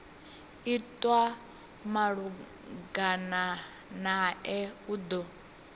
itwa malugana nae u do